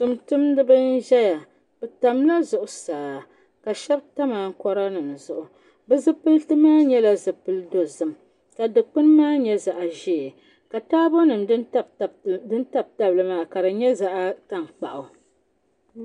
Tuuntumdiba n-ʒeya bɛ tamla zuɣusaa ma shɛba tam ankoranima zuɣu bɛ zipiliti maa nyɛla zipili dozim ka dukpuni maa nyɛ zaɣ'ʒee ka taabonima din tabi tabi li maa ka di nyɛ zaɣ'tankpaɣu.